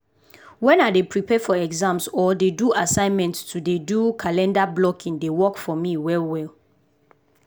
wen i dey prepare for exams or do assignment to dey do calendar blocking dey work for me well well.